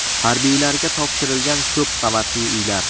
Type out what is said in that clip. Harbiylarga topshirilgan ko‘p qavatli uylar.